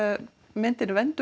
myndinni